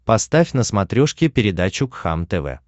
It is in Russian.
поставь на смотрешке передачу кхлм тв